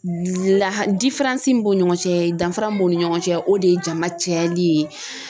min b'u ni ɲɔgɔn cɛ danfara min b'u ni ɲɔgɔn cɛ o de ye jama cayali ye.